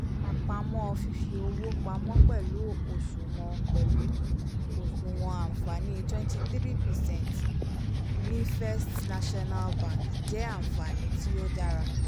àpamọ́ fífi owó pamọ́ pẹ̀lú oṣuwọn pẹ̀lú oṣuwọn àǹfààní twenty three percent ní first national bank jẹ́ ànfààní tíó dára